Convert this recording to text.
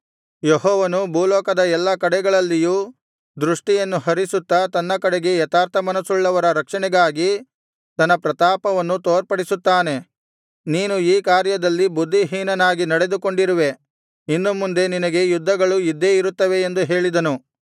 ಯೆಹೋವನು ಭೂಲೋಕದ ಎಲ್ಲಾ ಕಡೆಗಳಲ್ಲಿಯೂ ದೃಷ್ಠಿಯನ್ನು ಹರಿಸುತ್ತಾ ತನ್ನ ಕಡೆಗೆ ಯಥಾರ್ಥಮನಸ್ಸುಳ್ಳವರ ರಕ್ಷಣೆಗಾಗಿ ತನ್ನ ಪ್ರತಾಪವನ್ನು ತೋರ್ಪಡಿಸುತ್ತಾನೆ ನೀನು ಈ ಕಾರ್ಯದಲ್ಲಿ ಬುದ್ಧಿಹೀನನಾಗಿ ನಡೆದುಕೊಂಡಿರುವೆ ಇನ್ನು ಮುಂದೆ ನಿನಗೆ ಯುದ್ಧಗಳು ಇದ್ದೇ ಇರುತ್ತವೆ ಎಂದು ಹೇಳಿದನು